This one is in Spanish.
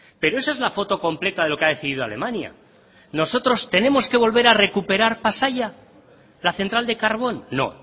pero esa es la foto completa de lo que ha decidido alemania nosotros tenemos que volver a recuperar pasaia la central de carbón no